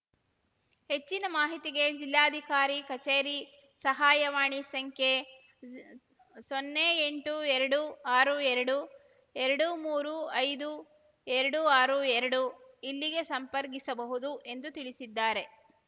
ಹೆಚ್ಚಿನ ಮಾಹಿತಿಗೆ ಜಿಲ್ಲಾಧಿಕಾರಿ ಕಚೇರಿ ಸಹಾಯವಾಣಿ ಸಂಖ್ಯೆ ಸೊನ್ನೆ ಎಂಟು ಎರಡು ಆರು ಎರಡು ಎರಡು ಮೂರು ಐದು ಎರಡು ಆರು ಎರಡು ಇಲ್ಲಿಗೆ ಸಂಪರ್ಕಿಸಬಹುದು ಎಂದು ತಿಳಿಸಿದ್ದಾರೆ